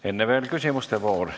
Enne veel küsimuste voor.